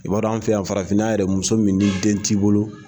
I b'a dɔn an fɛ yan farafinna yɛrɛ muso min ni den t'i bolo